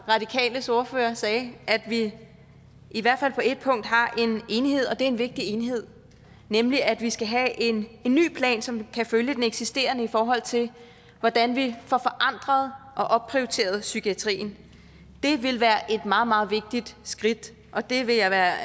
radikales ordfører sagde at vi i hvert fald på ét punkt har en enighed og det er en vigtig enighed nemlig at vi skal have en ny plan som kan følge den eksisterende i forhold til hvordan vi får forandret og opprioriteret psykiatrien det vil være et meget meget vigtigt skridt og det vil jeg være